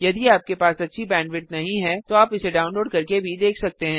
यदि आपके पास अच्छी बैंडविड्थ नहीं है तो आप इसे डाउनलोड करके भी देख सकते हैं